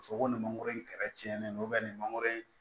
Ka fɔ ko nin mangoro in kɛrɛcɛnnen don nin mangoro